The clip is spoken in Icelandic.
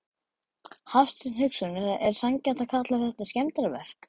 Hafsteinn Hauksson: Er sanngjarnt að kalla þetta skemmdarverk?